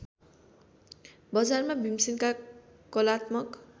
बजारमा भिमसेनका कलात्मक